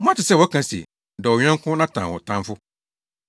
“Moate sɛ wɔaka se, ‘Dɔ wo yɔnko na tan wo tamfo.’